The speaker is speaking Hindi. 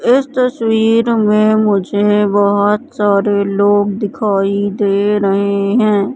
इस तस्वीर में मुझे बहोत सारे लोग दिखाई दे रहे हैं।